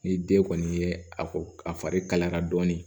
Ni den kɔni ye a fari kalaya dɔɔnin